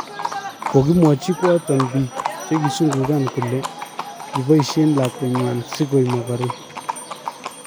kogimwachi koaton piik chegisungugan kole kipaisien lakwetnywan sigo mogoren